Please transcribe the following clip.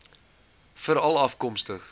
veralafkomstig